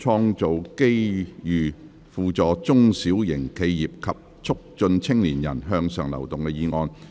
"創造機遇扶助中小型企業及促進青年人向上流動"議案。